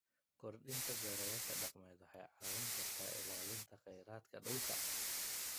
Kordhinta beerashada dhaqameed waxay caawin kartaa ilaalinta khayraadka dhulka.